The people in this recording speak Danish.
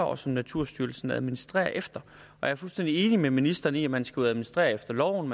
og som naturstyrelsen administrerer efter jeg er fuldstændig enig med ministeren i at man skal administrere efter loven